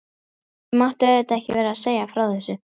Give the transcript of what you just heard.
Ég mátti auðvitað ekki vera að segja frá þessu.